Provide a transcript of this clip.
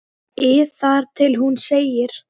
ið þar til hún segir